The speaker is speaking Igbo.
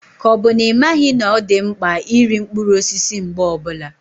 Ka ọ bụ na ị maghị na ọ dị mkpa iri mkpụrụ osisi mgbe ọbula?